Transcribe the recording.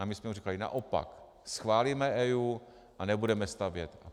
A my jsme mu říkali naopak - schválíme EIA a nebudeme stavět.